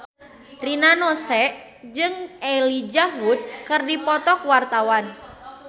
Rina Nose jeung Elijah Wood keur dipoto ku wartawan